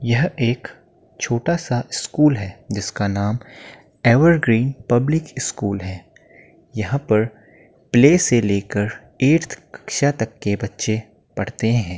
यह एक छोटा सा स्कूल है जिसका नाम एवरग्रीन पब्लिक स्कूल है। यहाँ पर प्ले से लेकर एर्थ कक्षा तक के बच्चे पढ़ते हैं।